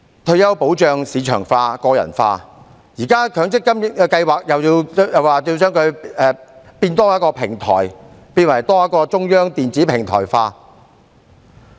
退休保障市場化、個人化，現在強積金計劃又多設一個平台，將之變為中央電子平台。